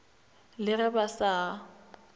le ge ba sa a